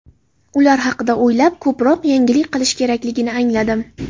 Ular haqida o‘ylab, ko‘proq yangilik qilish kerakligini angladim.